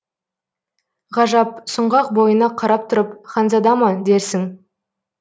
ғажап сұңғақ бойына қарап тұрып ханзада ма дерсің